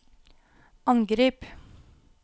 angrip